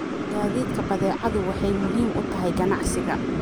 Gaadiidka badeecadu waxay muhiim u tahay ganacsiga.